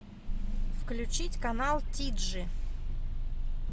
включить канал тиджи